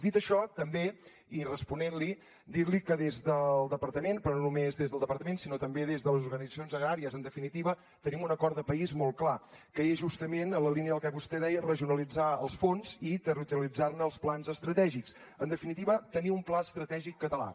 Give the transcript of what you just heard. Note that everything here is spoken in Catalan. dit això també i responent li dir li que des del departament però no només des del departament sinó també des d’organitzacions agràries en definitiva tenim un acord de país molt clar que és justament en la línia del que vostè deia regionalitzar els fons i territorialitzar ne els plans estratègics en definitiva tenir un pla estratègic català